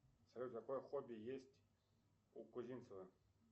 салют какое хобби есть у кузимцева